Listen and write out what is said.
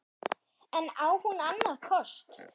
En á hún annan kost?